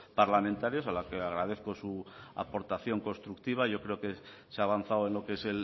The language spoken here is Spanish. parlamentarios a los que agradezco su aportación constructiva yo creo que se ha avanzado en lo que es